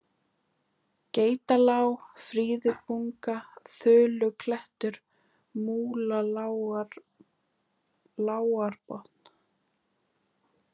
Geitalág, Fríðubunga, Þuluklettur, Múlalágarbotn